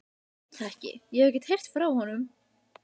Ég veit það ekki, ég hef ekkert heyrt frá honum.